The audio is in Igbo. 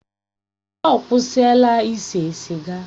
Ọ kwụsịla ise siga?